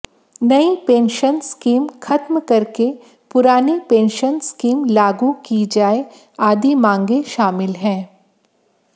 नई pension scheme खत्म करके पुरानी पेंशन स्कीम लागू की जाए आदि मांगे शामिल है